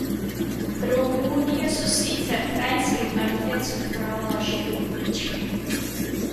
V Romunijo se sicer Kranjski Mrtvec odpravlja že drugič.